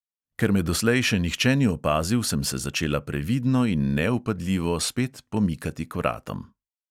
Ker me doslej še nihče ni opazil, sem se začela previdno in nevpadljivo spet pomikati k vratom.